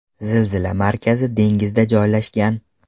Zilzila markazi dengizda joylashgan.